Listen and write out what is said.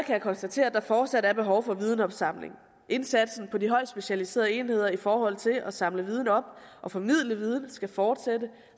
jeg konstatere at der fortsat er behov for videnopsamling indsatsen i de højt specialiserede enheder i forhold til at samle viden op og formidle viden skal fortsætte